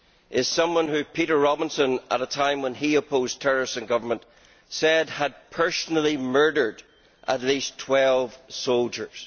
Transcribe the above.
is someone who Peter Robinson at a time when he opposed terrorists in government said had personally murdered at least 12 soldiers.